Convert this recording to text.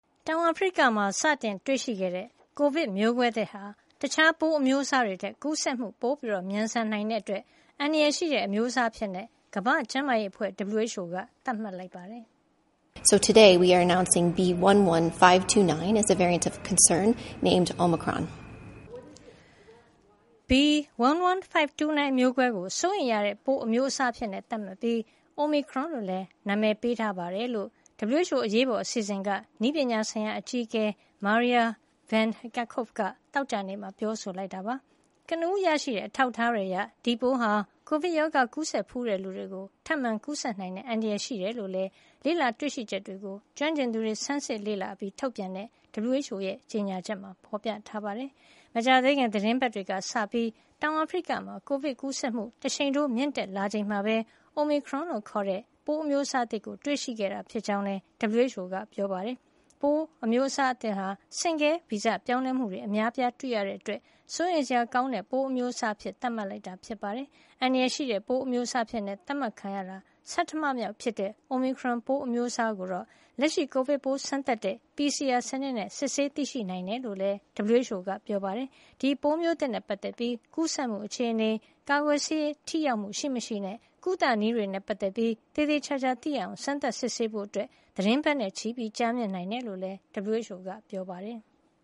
တောင်အာဖရိကမှာ စတင်တွေ့ရှိခဲ့တဲ့ ကိုဗစ်မျိုးကွဲသစ်ဟာ တခြားပိုးအမျိုးအစားတွေထက် ကူးစက်မှု မြန်ဆန်နိုင်တာကြောင့် အန္တရာယ်ရှိတဲ့ အမျိုးအစားအဖြစ် ကမ္ဘာ့ကျန်းမာရေးအဖွဲ့ က သတ်မှတ်လိုက်ပါတယ်။ “B.1.1.529 မျိုးကွဲကို စိုးရိမ်ရတဲ့ ပိုးအမျိုးအစားအဖြစ် သတ်မှတ်ပြီး၊ Omicron လို့ အမည်ပေးထားပါတယ်” လို့ WHO အရေးပေါ်အစီအစဉ်က နည်းပညာဆိုင်ရာအကြီးအကဲ Maria Van Kerkhove က သောကြာနေ့က ပြောဆိုလိုက်တာပါ။ ကနဦး ရရှိတဲ့ အထောက်အထားတွေအရ ဒီပိုးဟာ ကိုဗစ်ရောဂါ ကူးစက်ဖူးတဲ့လူတွေကို ထပ်မံကူးစက်နိုင်တဲ့ အန္တရာယ်ရှိတယ်လို့လည်း ကျွမ်းကျင်သူတွေ တွေ့ရှိချက်တွေကို ဆန်းစစ်လေ့လာအပြီး ထုတ်ပြန်တဲ့ WHO ကြေညာချက်မှာ ဖေါ်ပြထားပါတယ်။ မကြာသေးခင် သီတင်းပတ်တွေကစလို့ တောင်အာဖရိကမှာ ကိုဗစ် ကူးစက်မှု တရှိန်ထိုး မြင့်တက်လာချိန်မှာပဲ Omicron လို့ခေါ်တဲ့ ပိုးအမျိုးအစားသစ်ကို တွေ့ရှိခဲ့တာ ဖြစ်ကြောင်းလည်း WHO ကပြောပါတယ်။ ပိုးအများအစားသစ်ဟာ ဆင့်ကဲဗီဇပြောင်းလဲမှုတွေ အများအပြား တွေ့ရတာကြောင့် စိုးရိမ်စရာ ကောင်းတဲ့ ပိုးအမျိုးအစားအဖြစ် သတ်မှတ်လိုက်တာပါ။ အန္တရာယ်ရှိတဲ့ ပိုးအမျိုးအစားအဖြစ် သတ်မှတ်ခံရတာ ဆဌမမြောက်ဖြစ်တဲ့ Omicron ပိုးအမျိုးအစားကိုတော့ လက်ရှိ ကိုဗစ်ပိုး စမ်းသပ်တဲ့ PCR စနစ်နဲ့ စစ်ဆေးသိရှိနိုင်တယ်လို့လည်း WHO ကပြောပါတယ်။ ဒီပိုးမျိုးသစ် နဲ့ ပတ်သက်ပြီး ကူးစက်မှု အခြေနေ၊ ကာကွယ်ဆေး ထိရောက်မှု ရှိမရှိနဲ့ ကုသနည်းတွေနဲ့ ပတ်သက်ပြီး သေသေချာချာ သိရအောင် စမ်းသပ်စစ်ဆေးဖို့ သီတင်းပတ်နဲ့ချီ ကြာမြင့်နိုင်တယ် လို့လည်း WHO က ပြောပါတယ်။